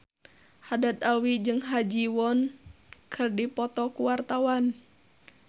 Haddad Alwi jeung Ha Ji Won keur dipoto ku wartawan